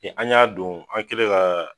An ɲ'a don, an kɛlen ka